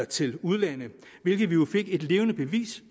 til udlandet hvilket vi jo fik et levende bevis